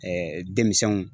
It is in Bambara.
denmisɛnw